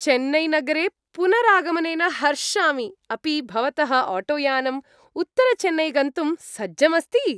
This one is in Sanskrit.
चेन्नैनगरे पुनरागमनेन हर्षामि, अपि भवतः आटोयानम् उत्तरचेन्नै गन्तुं सज्जम् अस्ति?